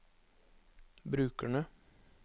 brukerne